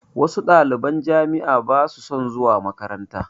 Wasu ɗaliban jami'a ba su son zuwa makaranta